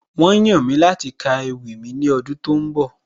Wọ́n yàn mí láti ka ewì mi ní ọdún tó ń bọ̀